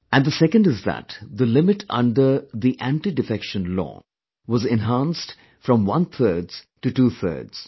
And the second one is that the limit under the Anti Defection Law was enhanced from onethirds to twothirds